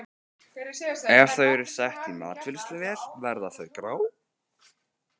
Ef þau eru sett í matvinnsluvél verða þau grá.